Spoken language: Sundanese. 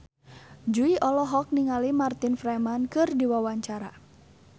Jui olohok ningali Martin Freeman keur diwawancara